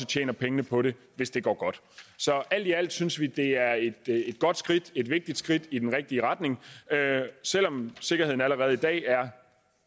tjener pengene på det hvis det går godt alt i alt synes vi det er et godt skridt et vigtigt skridt i den rigtige retning selv om sikkerheden allerede i dag er